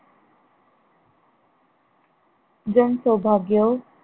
जण सौभाग्यो